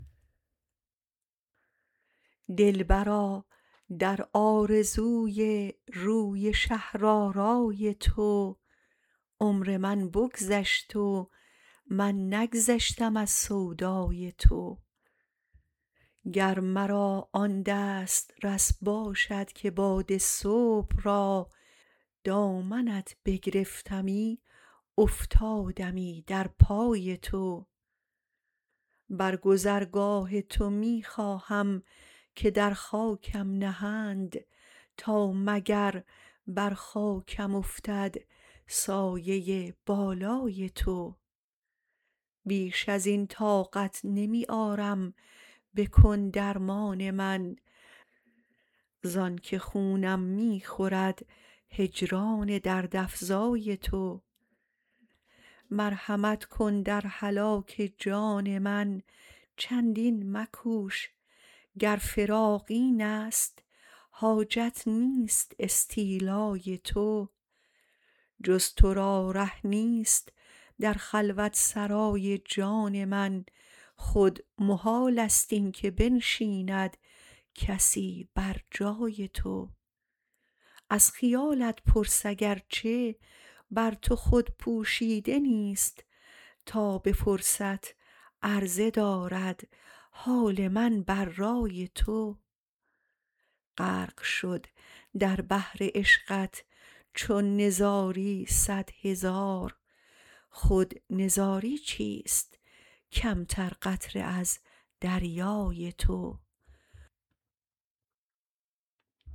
دل برا در آرزوی روی شهر آرای تو عمر من بگذشت و من نگذشتم از سودای تو گر مرا آن دست رس باشد که باد صبح را دامنت بگرفتمی افتادمی در پای تو بر گذرگاه تو می خواهم که در خاکم نهند تا مگر بر خاکم افتد سایۀ بالای تو بیش ازین طاقت نمی آرم بکن درمان من زانک خونم می خورد هجران دردافزای تو مرحمت کن در هلاک جان من چندین مکوش گر فراق این است حاجت نیست استیلای تو جز ترا ره نیست در خلوت سرای جان من خود محال است این که بنشیند کسی بر جای تو از خیالت پرس اگرچه بر تو خود پوشیده نیست تا به فرصت عرضه دارد حال من بر رأی تو غرق شد در بحر عشقت چون نزاری سد هزار خود نزاری چیست کم تر قطره از دریای تو